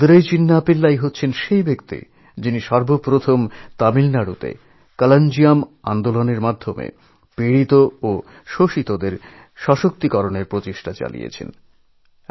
মাদুরাই চিন্না পিল্লাই সেই বিশিষ্ট মানুষ যিনি তামিলনাড়ুতে কলঞ্জিয়ম আন্দোলনএর মাধ্যমে ক্ষতিগ্রস্ত এবং শোষিতদের শক্তিশালী ও স্বনির্ভর করার চেষ্টা করেছেন